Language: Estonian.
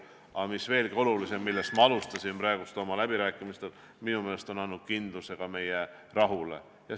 Aga veelgi olulisem, ja sellest ma alustasin: minu meelest on see andnud ka kindluse, et meil on rahu.